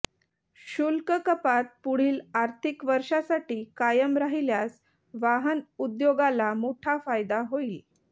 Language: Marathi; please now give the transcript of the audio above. शुल्क कपात पुढील आर्थिक वर्षासाठी कायम राहिल्यास वाहन उद्योगाला मोठा फायदा होईल